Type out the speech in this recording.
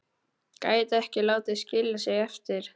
Gæti ekki látið skilja sig eftir.